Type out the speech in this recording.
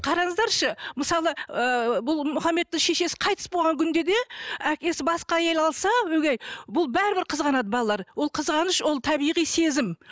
қараңыздаршы мысалы ыыы бұл мұхаммедтің шешесі қайтыс болған күнде де әкесі басқа әйел алса өгей бұл бәрібір қызғанады балалары ол қызғаныш ол табиғи сезім